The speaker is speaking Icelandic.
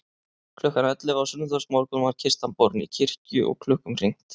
Klukkan ellefu á sunnudagsmorgun var kistan borin í kirkju og klukkum hringt.